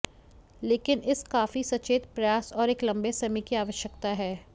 लेकिन इस काफी सचेत प्रयास और एक लंबे समय की आवश्यकता है